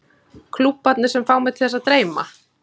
Klúbbarnir sem fá mig til þess að dreyma?